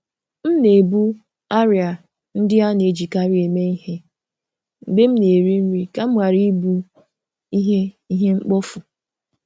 M na-ebu arịa ndị a na-ejikarị eme ihe mgbe m na-eri nri ka m ghara ị bụ ihe ihe mkpofu.